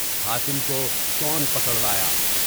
حاتم کو کون پکڑ لایا؟